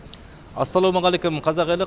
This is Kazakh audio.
ассалаймағалейкүм қазақ елі